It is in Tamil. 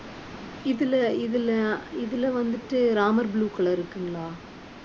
இதுல இதுல இதுல வந்துட்டு ராமர் blue color இருக்குங்களா